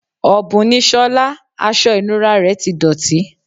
Òbùn ni Sola, aṣọ ìnura rẹ ti dọ̀tí.